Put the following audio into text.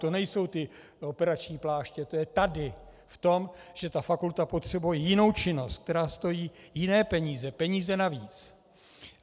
To nejsou ty operační pláště, to je tady v tom, že ta fakulta potřebuje jinou činnost, která stojí jiné peníze, peníze navíc.